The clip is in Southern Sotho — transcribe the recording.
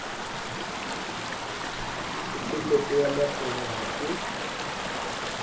pokelletso ya matlole ha se